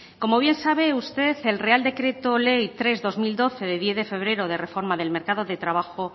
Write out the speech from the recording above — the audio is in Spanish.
como bien sabe usted el real decreto ley tres barra dos mil doce de diez de febrero de reforma del mercado de trabajo